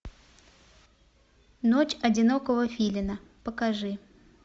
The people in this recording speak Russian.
ночь одинокого филина покажи